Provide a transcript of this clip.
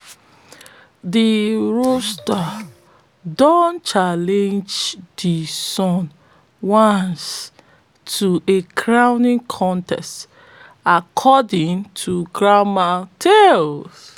de rooster don challenge de sun once to a crowing contest according to grandma tale